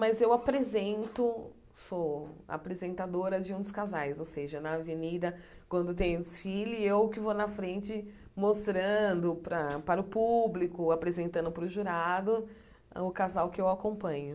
Mas eu apresento, sou apresentadora de um dos casais, ou seja, na avenida, quando tem desfile, eu que vou na frente mostrando para para o público, apresentando para o jurado o casal que eu acompanho.